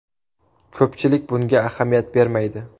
Ko‘pchilik bunga ahamiyat bermaydi.